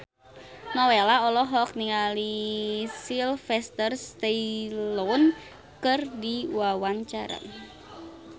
Nowela olohok ningali Sylvester Stallone keur diwawancara